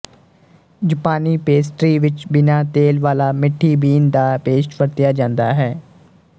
ਜਪਾਨੀ ਪੇਸਟਰੀ ਵਿੱਚ ਬਿਨਾ ਤੇਲ ਵਾਲਾ ਮਿੱਠੀ ਬੀਨ ਦਾ ਪੇਸਟ ਵਰਤਿਆ ਜਾਂਦਾ ਹੈ